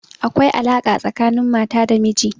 Akwai alaƙa tsakanin mata da miji.